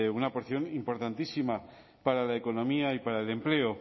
una porción importantísima para la economía y para el empleo